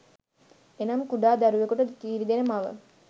එනම් කුඩා දරුවකුට කිරිදෙන මව